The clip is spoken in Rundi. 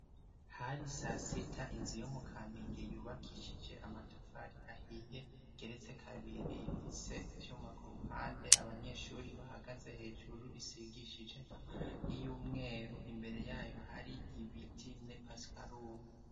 Hari sasita inzi yo mu kaminge yubakishije amatafari ahiye geretse kabiri ifise ivyuma ku ruhande abanyeshuri bahagaze hejuru isigishije y'iyumweru imbere yayo hari ibiti ne pasikalumu.